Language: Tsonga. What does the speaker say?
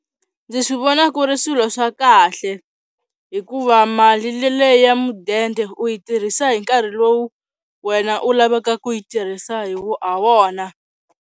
Ndzi swi vona ku ri swilo swa kahle hikuva mali leyi ya mudende u yi tirhisa hi nkarhi lowu wena u lavaka ku yi tirhisa ha wona.